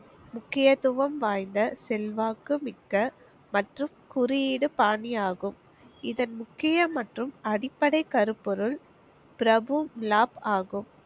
முக்கியத்துவம் வாய்ந்த செல்வாக்கு மிக்க மற்றும் குறியிடூ பாணி ஆகும். இதன் முக்கிய மற்றும் அடிப்படை கருப்பொருள் ஆகும்.